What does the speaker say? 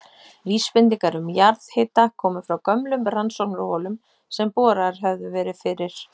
Vísbendingar um jarðhita komu frá gömlum rannsóknarholum sem boraðar höfðu verið fyrir